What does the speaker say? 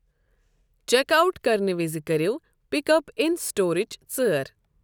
Check out كرنہٕ وِز کٔرٮ۪و ' پِک اپ ان سٹورٕچ' ژٲر ۔